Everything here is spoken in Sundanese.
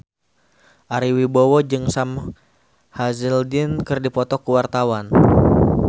Ari Wibowo jeung Sam Hazeldine keur dipoto ku wartawan